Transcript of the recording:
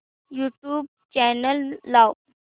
YouTube channel लाव